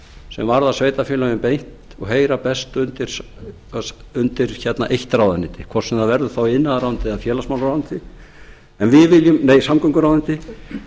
sem varða sveitarfélögin beint og heyra beint undir eitt ráðuneyti hvort sem það verður þá iðnaðarráðuneytið eða samgönguráðuneytið